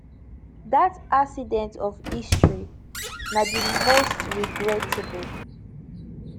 dat accident of history na di most regrettable